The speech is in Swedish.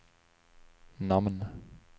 namn